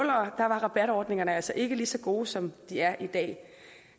var rabatordningerne altså ikke lige så gode som de er i dag